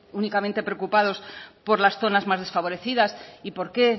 únicamente preocupados por las zonas más desfavorecidas y por qué